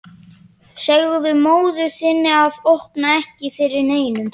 Segðu móður þinni að opna ekki fyrir neinum.